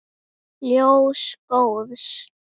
Ljós góðs.